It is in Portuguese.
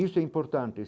Isso é importante.